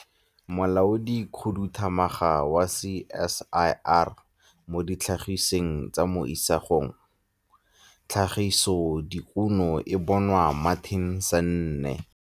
Molaodikhuduthamaga wa CSIR mo Ditlhagisweng tsa mo Isagong - Tlhagisodikuno e bong Martin Sanne.